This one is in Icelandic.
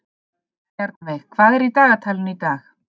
Bjarnveig, hvað er í dagatalinu í dag?